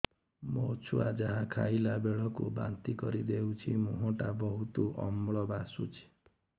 ମୋ ଛୁଆ ଯାହା ଖାଇଲା ବେଳକୁ ବାନ୍ତି କରିଦଉଛି ମୁହଁ ଟା ବହୁତ ଅମ୍ଳ ବାସୁଛି